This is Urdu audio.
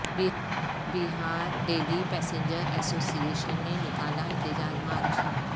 بہار daily passenger association نے نکالا احتجاج مارچ